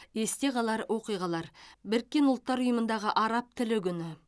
есте қалар оқиғалар біріккен ұлттар ұйымындағы араб тілі күні